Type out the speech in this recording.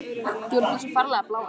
Þú ert með svo ferlega blá augu.